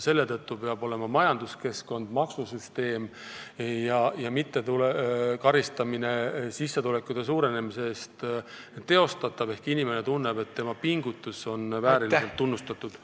Selle teenistuses peaksid olema majanduskeskkond ja maksusüsteem ning sissetulekute suurenemise eest ei tohiks karistada, et inimene tunneks, et tema pingutusi ka vääriliselt tunnustatakse.